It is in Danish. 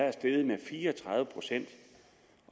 er steget med fire og tredive procent